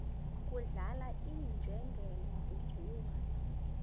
kudlala iinjengele zidliwa